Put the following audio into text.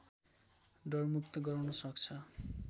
डरमुक्त गराउन सक्छ